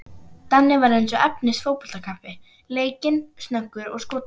Danni var efnis fótboltakappi, leikinn, snöggur og skotharður.